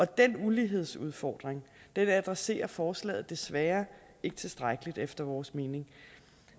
den ulighedsudfordring adresserer forslaget desværre ikke tilstrækkeligt efter vores mening